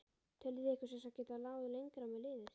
Þið teljið ykkur sem sagt geta náð lengra með liðið?